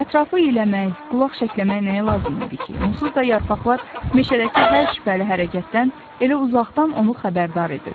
Ətrafı iyləmək, qulaq şəkləmək nəyə lazım idi ki, onsuz da yarpaqlar meşədəki hər şübhəli hərəkətdən elə uzaqdan onu xəbərdar edirdi.